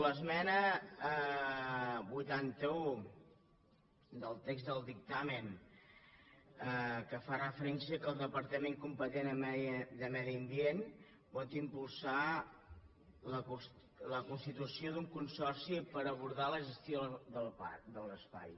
l’esmena vuitanta un del text del dictamen que fa referència que el departament competent en medi ambient pot impulsar la constitució d’un consorci per abordar la gestió del parc de l’espai